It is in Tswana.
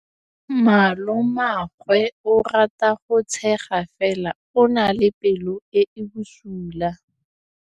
Malomagwe o rata go tshega fela o na le pelo e e bosula.